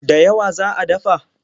Da yawa za a dafa?